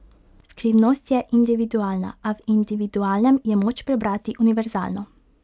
Skrivnost je individualna, a v individualnem je moč prebrati univerzalno.